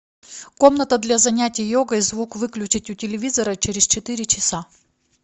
комната для занятия йогой звук выключить у телевизора через четыре часа